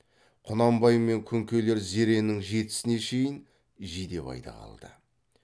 құнанбай мен күнкелер зеренің жетісіне шейін жидебайда қалды